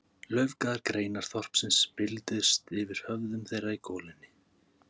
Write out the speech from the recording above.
Laufgaðar greinar þorpsins bylgjuðust yfir höfðum þeirra í golunni.